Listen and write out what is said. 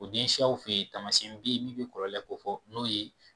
O den siyaw fɛ yen taamasiyɛnw beyi min bɛ kɔlɔlɔ kofɔ n'o ye.